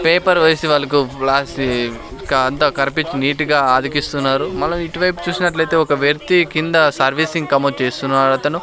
Pepper waste వాళ్ళకు last కి క అంతా కరిపిచ్చి నీట్ గా అతికిస్తున్నారు మల్ల ఇటు వైపు చూసినట్లైతే ఒక వ్యక్తి కిందా సర్వీసింగ్ కమో చేస్తున్నాడతను.